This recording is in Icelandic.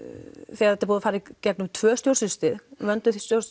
þetta er búið að fara í gegnum tvö stjórnsýslustig vönduð